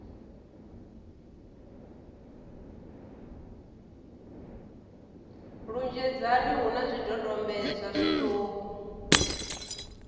lunzhedzana hu na zwidodombedzwa zwiṱuku